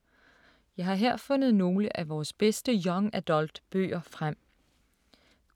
Jeg har her fundet nogle af vores bedste Young Adult-bøger frem.